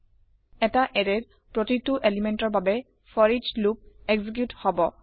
এটা এৰেয়ক প্ৰতিটো পদাৰ্থৰ বাবে ফৰিচ লুপ এক্সিকিউত হব